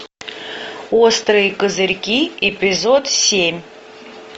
острые козырьки эпизод семь